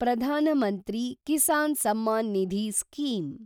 Pradhan Mantri Kisan Samman Nidhi scheme